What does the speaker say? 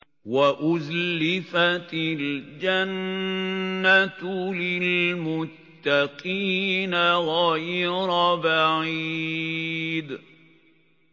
وَأُزْلِفَتِ الْجَنَّةُ لِلْمُتَّقِينَ غَيْرَ بَعِيدٍ